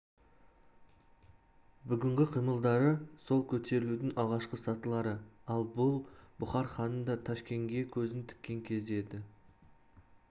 бүгінгі қимылдары сол көтерілудің алғашқы сатылары ал бұл бұхар ханының да ташкенге көзін тіккен кезі еді